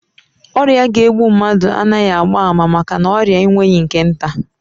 Ọrịa ga-egbu mmadụ anaghị agba ama maka na ọrịa enweghị nke nta